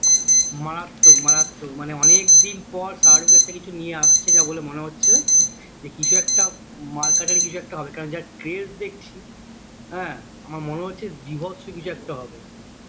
মারাত্মক মারাত্মক মানে অনেক দিন পর শাহরুখ একটা কিছু নিয়ে আসছে যা বলে মনে হচ্ছে যে কিছু একটা মারকাটারি কিছু একটা হবে কারণ যা তেজ দেখছি হ্যাঁ আমার মনে হচ্ছে বীভৎস কিছু একটা হবে